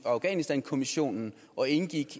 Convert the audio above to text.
afghanistankommissionen og indgik